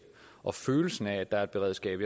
og følelsen af at der er et beredskab